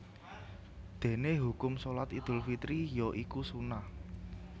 Dene hukum Shalat Idul Fitri ya iku sunnah